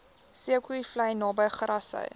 zeekoevlei naby grassy